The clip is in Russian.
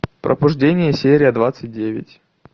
пробуждение серия двадцать девять